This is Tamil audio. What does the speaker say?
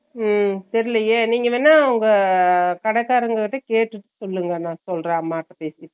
ஹம் தெரியலயே நீங்க வேன்ன அங்க கடிகாரங்க கிட்ட கேட்டுட்டு சொல்லுங்க, நா சொல்றேன் அம்மாட்ட பேசிட்டு